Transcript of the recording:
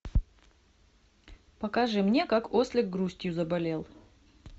покажи мне как ослик грустью заболел